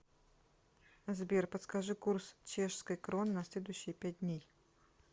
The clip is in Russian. сбер подскажи курс чешской кроны на следующие пять дней